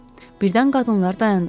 Birdən qadınlar dayandılar.